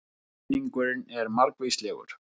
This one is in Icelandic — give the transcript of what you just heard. Ávinningurinn er margvíslegur